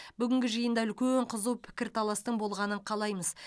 бүгінгі жиында үлкен қызу пікірталастың болғанын қалаймыз